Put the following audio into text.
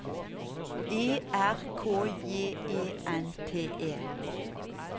E R K J E N T E